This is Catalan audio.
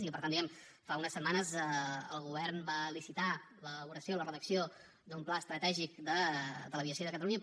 i per tant diguem ne fa unes setmanes el govern va licitar l’elaboració la redacció d’un pla estratègic de l’aviació de catalunya